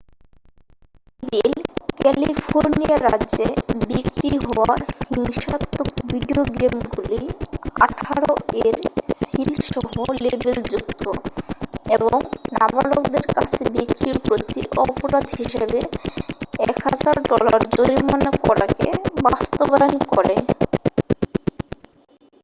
"এই বিল ক্যালিফোর্নিয়া রাজ্যে বিক্রি হওয়া হিংসাত্মক ভিডিও গেমগুলি "১৮" এর সিল সহ লেবেলযুক্ত এবং নাবালকদের কাছে বিক্রির প্রতি অপরাধ হিসাবে ১০০০ ডলার জরিমানা করাকে বাস্তবায়ন করে।